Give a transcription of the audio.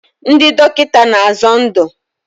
Ndị dọkịta na-azọ ndụ.